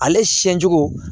Ale siɲɛ cogo